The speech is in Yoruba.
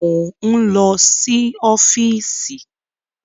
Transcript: Mo ń lọ sí ọ́fíìsì